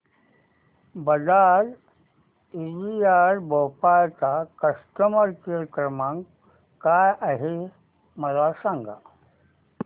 Bajaj Allianz Bhopal चा customer care क्रमांक काय आहे मला सांगा